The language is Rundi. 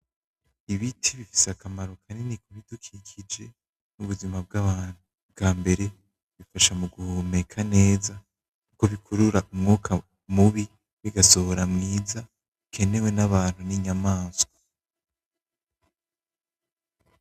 Ibiti bifise akamaro kanini ku bidukikije mu buzima bw'abantu. Ubwa mbere, bica mu guhumeka neza kuko bikurura umwuka mubi, bigasohora mwiza, ukenewe n'abantu n'inyamaswa.